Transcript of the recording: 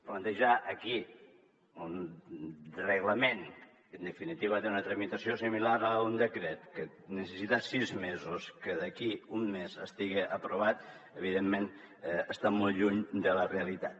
plantejar aquí un reglament que en definitiva té una tramitació similar a la d’un decret que necessita sis mesos que d’aquí un mes estigui aprovat evidentment està molt lluny de la realitat